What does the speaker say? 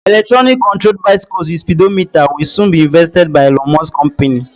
Electronic controlled bicycles with speedometer will soon be invested by Elon Musk company.